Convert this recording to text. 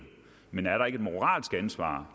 men er der ikke et moralsk ansvar